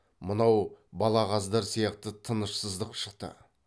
мынау балағаздар сияқты тынышсыздық шықты